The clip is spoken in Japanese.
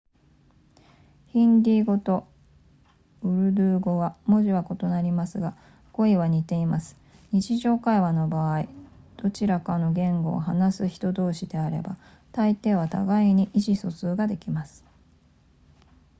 ヒンディー語とウルドゥー語は文字は異なりますが語彙は似ています日常会話の場合どちらかの言語を話す人同士であればたいていは互いに意思疎通ができます